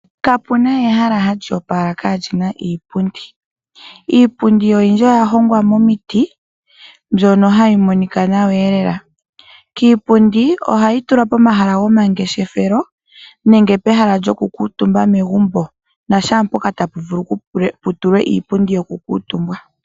Kapuna ehala hali opala kalina iipundi. Iipundi oyindji oya hongwa momiti na ohayi monika nawa lela. Iipundi ohayi tulwa pomahala gomangeshefelo nenge pehala lyo kukuutumba megumbo, na shaampoka tapu vulu okutulwa iipundi yoku kuutumbwa.